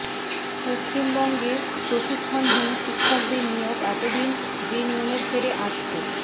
পশ্চিমবঙ্গে প্রশিক্ষণহীন শিক্ষকদের নিয়োগ এত দিন যে নিয়মের ফেরে আটকে